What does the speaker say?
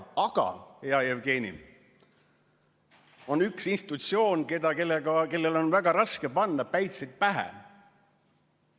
Aga, hea Jevgeni, on üks institutsioon, kellele on väga raske panna päitsed pähe.